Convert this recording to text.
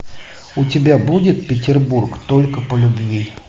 у тебя будет петербург только по любви